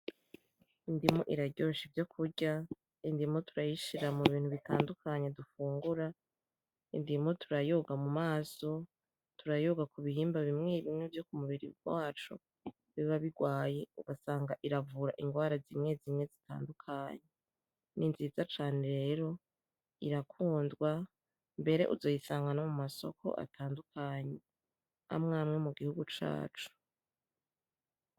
Indimu iraryosha ivyokurya, indimu turayishira mubintu bitandukanye dufungura, indimu turayoga mumaso, turayogo kubihimba bimye bimye vyokumubiri wacu biba bigwaye ugasanga iravura ingwara zimye zimye zitanduakanye. Ninzinza cane rero irakundwa mbere uzoyisanga kumasoko atandukanye amye amye mugihugu cacu.